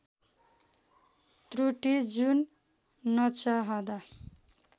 त्रुटी जुन नचाहँदा